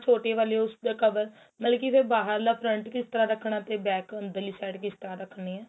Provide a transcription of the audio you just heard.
ਛੋਟੀਆਂ ਵਾਲੀਆਂ ਉਸ ਦਾ cover ਮਤਲਬ ਕੀ ਫੇਰ ਬਾਹਰ ਲਾ front ਕਿਸ ਤਰਾਂ ਰੱਖਣਾ ਤੇ back ਅੰਦਰਲੀ side ਕਿਸ ਤਰਾਂ ਰੱਖਣੀ ਏ